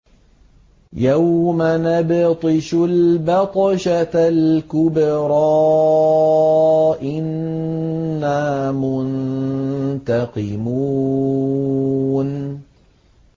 يَوْمَ نَبْطِشُ الْبَطْشَةَ الْكُبْرَىٰ إِنَّا مُنتَقِمُونَ